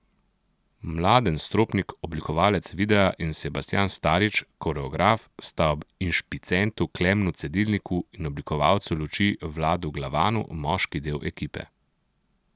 Mladen Stropnik, oblikovalec videa in Sebastijan Starič, koreograf sta ob inšpicientu Klemnu Cedilniku in oblikovalcu luči Vladu Glavanu, moški del ekipe.